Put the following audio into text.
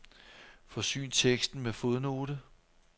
Forsyn teksten med fodnote.